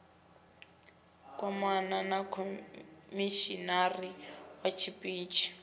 kwamana na khomishinari wa tshiṱitshi